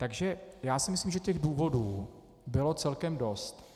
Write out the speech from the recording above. Takže já si myslím, že těch důvodů bylo celkem dost.